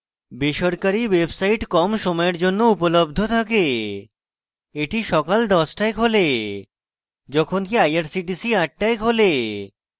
বেসরকারী websites কম সময়ের জন্য উপলব্ধ থাকে এটি সকাল 10 টায় খোলে যখনকি irctc 8 টায় খোলে